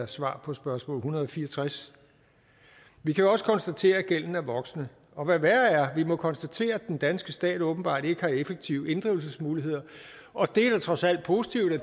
svaret på spørgsmål en hundrede og fire og tres vi kan jo også konstatere at gælden er voksende og hvad værre er må vi konstatere at den danske stat åbenbart ikke har effektive inddrivelsesmuligheder og det er da trods alt positivt at